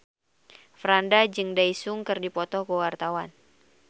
Franda jeung Daesung keur dipoto ku wartawan